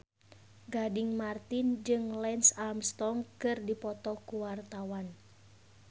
Gading Marten jeung Lance Armstrong keur dipoto ku wartawan